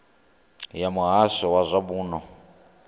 ya muhasho wa zwa muno